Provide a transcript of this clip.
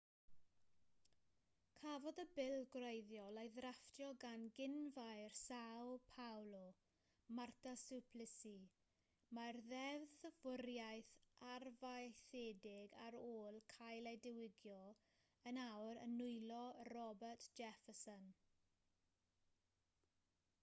cafodd y bil gwreiddiol ei ddrafftio gan gyn-faer são paolo marta suplicy. mae'r ddeddfwriaeth arfaethedig ar ôl cael ei diwygio yn awr yn nwylo roberto jefferson